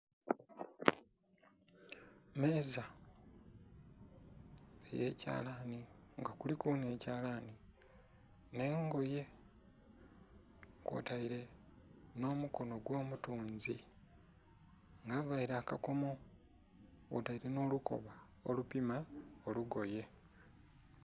Emeeza eyekyalani nga kuliku n'ekyalani n'engoye kwotaire n'omukono ogw'omutunzi nga avaire akakomo kwotaire n'olukoba olupima olugoye.